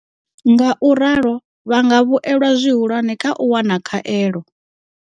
Ngauralo vha nga vhuelwa zwihulwane kha u wana khaelo.